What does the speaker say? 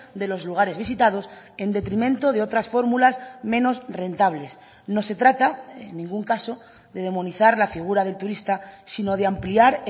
de los lugares visitados en detrimento de otras fórmulas menos rentables no se trata en ningún caso de demonizar la figura del turista sino de ampliar